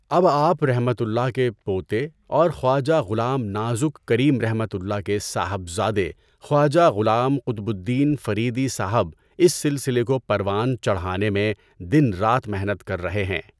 اب آپؒ کے پوتے اور خواجہ غلام نازک کریمؒ کے صاحبزادے خواجہ غلام قطب الدین فریدی صاحب اس سلسلے کو پروان چڑھانے میں دن رات محنت کر رہے ہیں۔